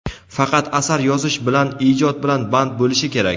faqat asar yozish bilan — ijod bilan band bo‘lishi kerak.